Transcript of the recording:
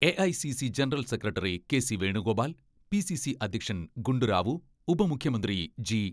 AICC general secretary K C Venugopal, പി.സി.സി അധ്യക്ഷൻ ഗുണ്ടുറാവു, ഉപമുഖ്യമന്ത്രി G.